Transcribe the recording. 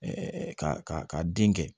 ka ka den kɛ